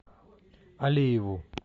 алиеву